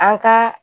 An ka